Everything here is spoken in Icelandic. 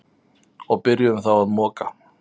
Og byrjuðum þá að moka.